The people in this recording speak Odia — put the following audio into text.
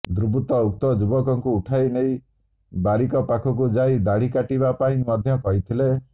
ଦୁର୍ବୃତ୍ତ ଉକ୍ତ ଯୁବକଙ୍କୁ ଉଠାଇନେଇ ବାରିକ ପାଖକୁ ଯାଇ ଦାଢୀ କାଟିବା ପାଇଁ ମଧ୍ୟ କହିଥିଲେ